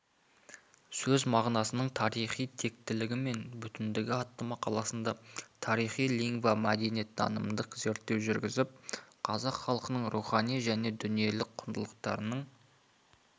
сөз мағынасының тарихи тектілігі мен бүтіндігі атты мақаласында тарихи-лингвомәдениеттанымдық зерттеу жүргізіп қазақ халқының рухани және дүниелік құндылықтарының